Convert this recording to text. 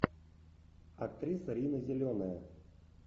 актриса рина зеленая